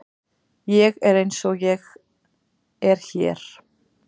Ég er eins og ég er hér.